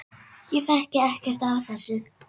Ég þekki ekkert af þessu.